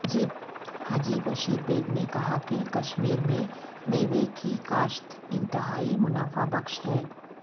حاجی بیشر بیگ نے کہا کہ کشمیر میں میوہ کی کاشت انتہائی منافع بخش ہے